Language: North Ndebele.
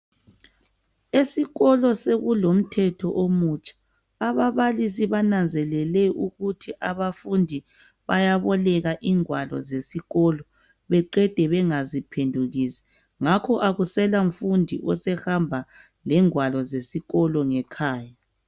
Esikolo sekulomthetho omutsha, ababalisi bananzelele ukuthi abafundi bayaboleka ingwalo zesikolo ngakho akusela mfundi osehamba lengwalo zesikolo ngekhaya